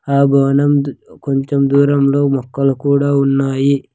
ఆ గోడౌన్ కొంచెం దూరం లో మొక్కలు కూడా ఉన్నాయి.